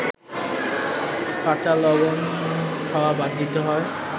কাঁচালবণ খাওয়া বাদ দিতে হয়